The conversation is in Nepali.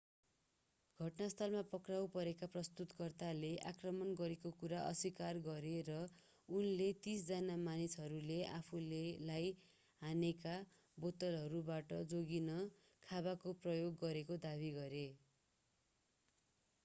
घटनास्थलमा पक्राउ परेका प्रस्तुतकर्ताले आक्रमण गरेको कुरा अस्वीकार गरे र उनले तीस जना मानिसहरूले आफूलाई हानेका बोतलहरूबाट जोगिन खाँबाको प्रयोग गरेको दावी गरे